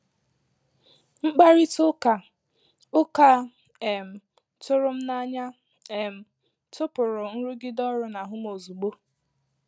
Mkpàrịtà ụ́ka ụka a um tụrụ m n’ànyà um tụpụ̀rụ nrụgide ọrụ n’ahụ m ozugbo.